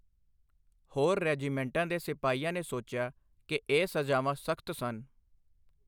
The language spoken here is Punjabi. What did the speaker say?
ਹੋਰ ਰੈਜੀਮੈਂਟਾਂ ਦੇ ਸਿਪਾਹੀਆਂ ਨੇ ਸੋਚਿਆ ਕੀ ਇਹ ਸਜ਼ਾਵਾਂ ਸਖ਼ਤ ਸਨ।